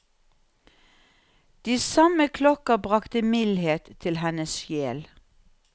De samme klokker bragte mildhet til hennes sjel.